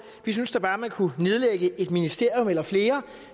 vi synes da bare at man kunne nedlægge et ministerium eller flere